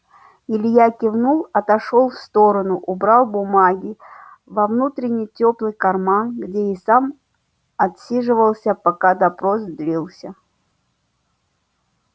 илья кивнул отошёл в сторону убрал бумаги во внутренний тёплый карман где и сам отсиживался пока допрос длился